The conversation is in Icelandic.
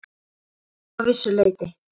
Já, að vissu leyti.